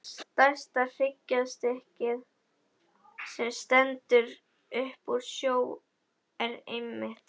Stærsta hryggjarstykkið, sem stendur upp úr sjó, er einmitt